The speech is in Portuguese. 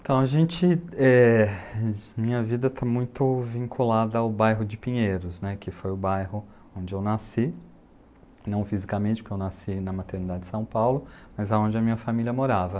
Então, a gente, é... minha vida está muito vinculada ao bairro de Pinheiros, né. Que foi o bairro onde eu nasci, não fisicamente, porque eu nasci na maternidade de São Paulo, mas onde a minha família morava.